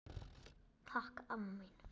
Takk amma mín.